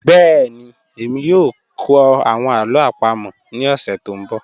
Bẹẹni, ẹ̀mí yoo kọ awọn alo apamo ni ọsẹ to nbọ.